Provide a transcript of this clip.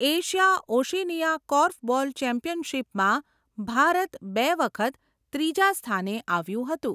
Asia Oceania korfball ચેમ્પિયનશિપમાં ભારત બે વખત ત્રીજા સ્થાને આવ્યું હતું.